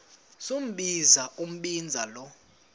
sombinza umbinza lo